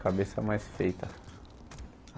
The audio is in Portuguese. Cabeça mais feita.